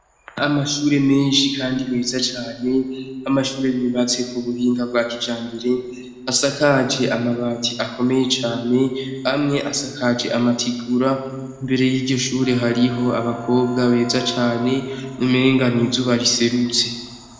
Amashure menshi kandi meza cane, amashure yubatse ku buhinga bwa kijambere asakaje amabati akomeye cane amwe asakaje amatigura, imbere yiryo shure hariho abakobwa beza cane umenga n'izuba riserutse.